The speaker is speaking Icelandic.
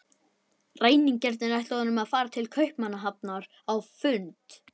Ræningjarnir ætluðu honum að fara til Kaupmannahafnar á fund